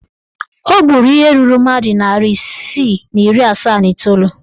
O gburu ihe ruru mmadụ narị isii na iri asaa na iteolu.